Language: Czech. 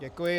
Děkuji.